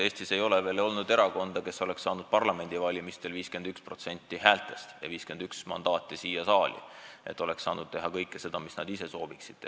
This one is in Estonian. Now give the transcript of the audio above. Eestis ei ole veel olnud erakonda, kes oleks saanud parlamendivalimistel 51% häältest ja 51 mandaati siia saali ja nad oleks saanud teha kõike seda, mis nad soovisid teha.